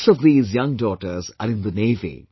Six of these young daughters are in the Navy